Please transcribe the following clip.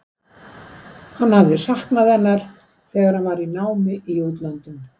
Hann hafði saknað hennar þegar hann var í námi í útlöndum.